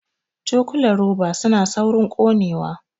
Cokulan roba suna saurin ƙonewa